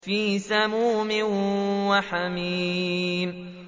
فِي سَمُومٍ وَحَمِيمٍ